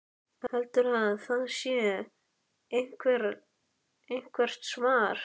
Heldurðu að það sé eitthvert svar?